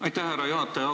Aitäh, härra juhataja!